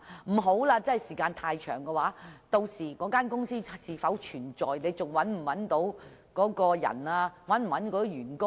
如果時間太長，涉事公司屆時是否仍存在、是否能找到當事人或涉事員工？